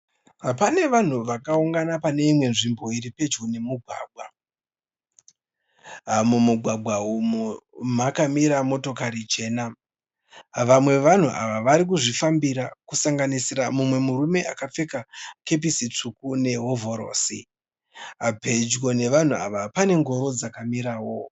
Pane vanhu vakaungana pane imwe nzvimbo iri pedyo nemugwagwa. Mumugwagwa umu makamira motokati chena. Vamwe vevanhu ava vari kuzvifambira kusanganisira mumwe murume akapfeka kepisi tsvuku nehovhorosi. Pedyo nevanhu ava pane ngoro dzakamirawo.